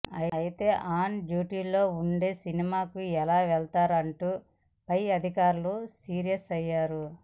అయితే ఆన్ డ్యూటీలో ఉండి సినిమాకు ఎలా వెళ్తారంటూ పై అధికారులు సీరియస్ అయ్యారు